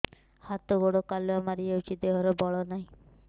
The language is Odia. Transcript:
ହାତ ଗୋଡ଼ କାଲୁଆ ମାରି ଯାଉଛି ଦେହରେ ବଳ ନାହିଁ